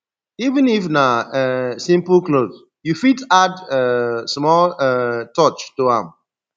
even if na um simple clothe you fit add um small um touch to am